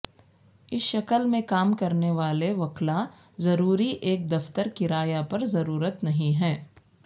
اس شکل میں کام کرنے والے وکلاء ضروری ایک دفتر کرایہ پر ضرورت نہیں ہے